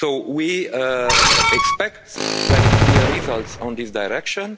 We expect very clear results in this direction.